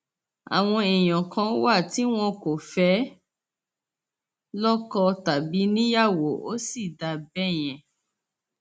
àwọn èèyàn kan wà tí wọn kò fẹẹ lọkọ tàbí níyàwó ó sì dáa bẹẹ yẹn